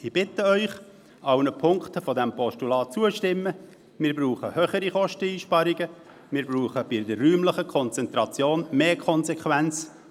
Ich bitte Sie, sämtlichen Ziffern dieses Postulat zuzustimmen, wir brauchen höhere Kosteneinsparungen und bei der räumlichen Konzentration mehr Konsequenz.